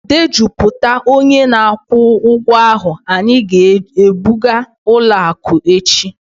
Dejupụta onye na-akwụ ụgwọ ahụ, anyị ga-ebuga ụlọ akụ echi..